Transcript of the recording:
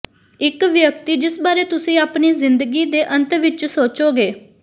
ਇਕ ਵਿਅਕਤੀ ਜਿਸ ਬਾਰੇ ਤੁਸੀਂ ਆਪਣੀ ਜ਼ਿੰਦਗੀ ਦੇ ਅੰਤ ਵਿਚ ਸੋਚੋਗੇ